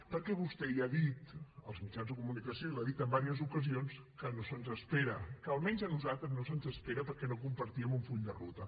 perquè vostè ja ha dit als mitjans de comunicació i ho ha dit en diverses ocasions que no se’ns espera que almenys a nosaltres no se’ns espera perquè no compartíem un full de ruta